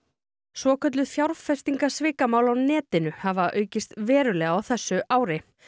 svokölluð fjárfestingasvikamál á netinu hafa aukist verulega á þessu ári